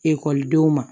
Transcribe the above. Ekɔlidenw ma